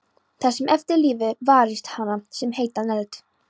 Þið sem eftir lifið, varist hana sem heitan eld.